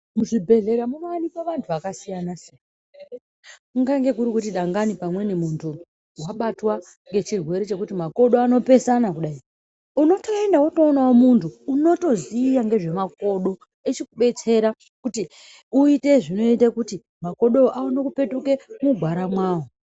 Muzvibhedhlera munowanikwa vantu vakasiyana siyana. Kungange kuri kuti dangani pamweni muntu wabatwa ngechirwere chekuti makodo anopesana kudai unotoenda wotoonawo muntu unotoziva ngezvemakodo echikubetsera kuti uite zvinoite kuti makodowo aone kupetuke mugwara mwawo.